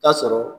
Ta sɔrɔ